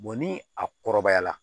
ni a kɔrɔbayara